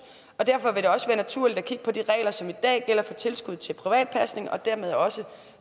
og derfor vil det også være naturligt at kigge på de regler som i dag gælder for tilskud til privat pasning og dermed også